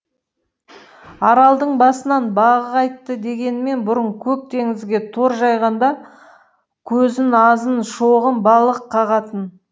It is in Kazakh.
аралдың басынан бағы қайтты дегенмен бұрын көк теңізге тор жайғанда ау көзін азын шоғын балық қағатын